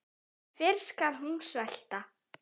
Fyrr skal hún svelta.